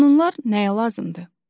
Qanunlar nəyə lazımdır?